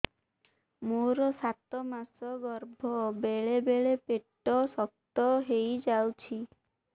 ମୋର ସାତ ମାସ ଗର୍ଭ ବେଳେ ବେଳେ ପେଟ ଶକ୍ତ ହେଇଯାଉଛି